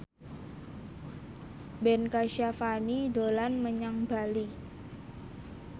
Ben Kasyafani dolan menyang Bali